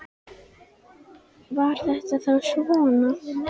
Var þetta þá svona?